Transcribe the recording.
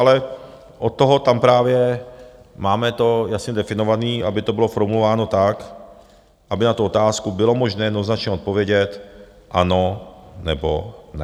Ale od toho tam právě máme to jasně definované, aby to bylo formulováno tak, aby na tu otázku bylo možné jednoznačně odpovědět "ano" nebo "ne".